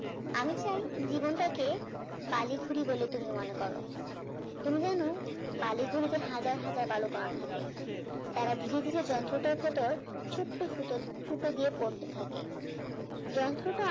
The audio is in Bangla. আমি চাই জীবনটাকে বালিখুড়ি বলে তুমি মনে করো তুমি জানো বালিঘুরিতে হাজার হাজার বালিকণা থাকে তারা ধীরে ধীরে যন্ত্রটার সত্বেও ছোট ছোট ফুটো দিয়ে পড়তে থাকে যন্ত্রটা